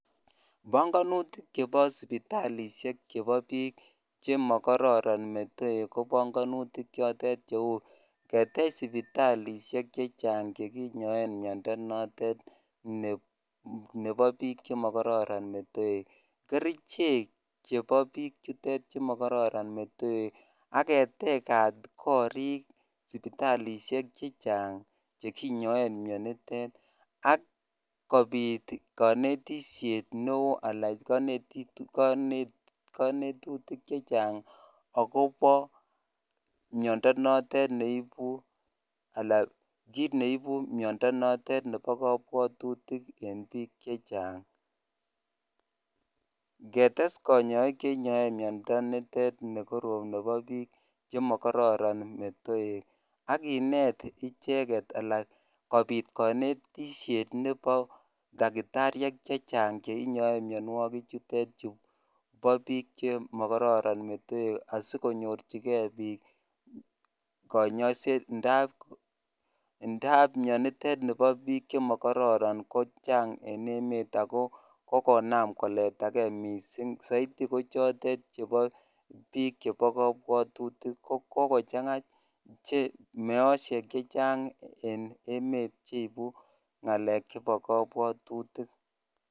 Panganutik chepo sipitalisheekchepo piik chemakararan metoeek komagat ketech sipitalisheek chechang ak ketegat koriik chepo pichutook chepo pichutook ak kindee kericheek ak kindee kanetik konet piik chechaang amunee sikomii miandap pichuu